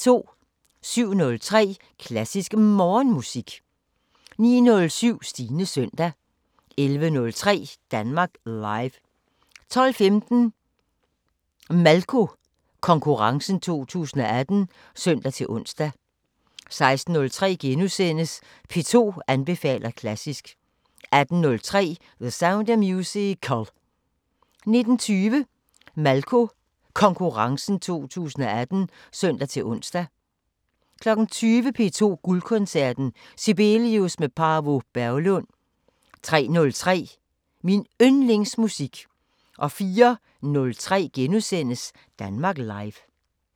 07:03: Klassisk Morgenmusik 09:07: Stines søndag 11:03: Danmark Live 12:15: Malko Konkurrencen 2018 (søn-ons) 16:03: P2 anbefaler klassisk * 18:03: The Sound of Musical 19:20: Malko Konkurrencen 2018 (søn-ons) 20:00: P2 Guldkoncerten: Sibelius med Paavo Berglund 03:03: Min Yndlingsmusik 04:03: Danmark Live *